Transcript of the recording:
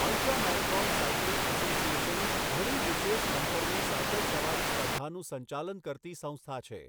Ultra marathon cycling association ઘણી વિશેષ અંતરની સાયકલ સવારી સ્પર્ધાનું સંચાલન કરતી સંસ્થા છે.